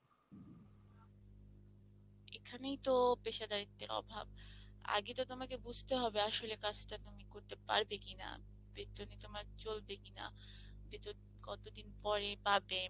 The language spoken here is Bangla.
এখানেই তো পেশাদারিত্বের অভাব, আগে তো তোমাকে বুঝতে হবে আসলে কাজটা তুমি করতে পারবে কিনা? বেতনে তোমার চলবে কিনা? বেতন কত দিন পরে পাবে?